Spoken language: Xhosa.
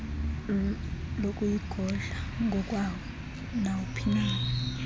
lokuyigodla ngokwawo nawuphina